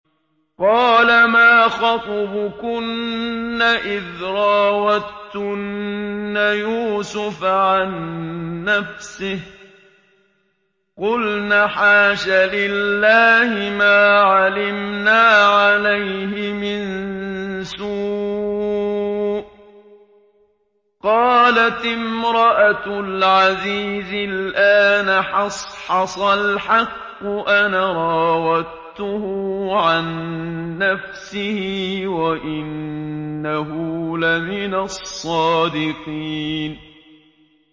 قَالَ مَا خَطْبُكُنَّ إِذْ رَاوَدتُّنَّ يُوسُفَ عَن نَّفْسِهِ ۚ قُلْنَ حَاشَ لِلَّهِ مَا عَلِمْنَا عَلَيْهِ مِن سُوءٍ ۚ قَالَتِ امْرَأَتُ الْعَزِيزِ الْآنَ حَصْحَصَ الْحَقُّ أَنَا رَاوَدتُّهُ عَن نَّفْسِهِ وَإِنَّهُ لَمِنَ الصَّادِقِينَ